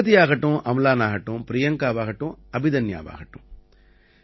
பிரகதியாகட்டும் அம்லான் ஆகட்டும் பிரியங்காவாகட்டும் அபிதன்யாவாகட்டும்